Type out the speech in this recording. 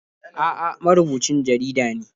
A'a, marubucin jarida ne.